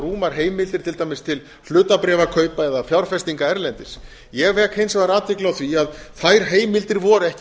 rúmar heimildir til dæmis til hlutabréfakaupa eða fjárfestinga erlendis ég vek hins vegar athygli á því að þær heimildir voru ekki